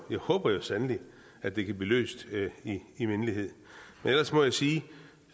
håber sandelig at det kan blive løst i mindelighed ellers må jeg sige